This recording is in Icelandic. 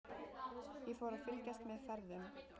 Ég fór að fylgjast með ferðum